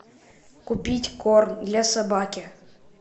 купить корм для собаки